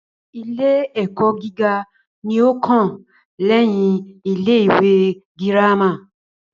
Ilé ẹ́kọ́ gíga ní o kàn lẹ́yin ilé ìwé gírámà.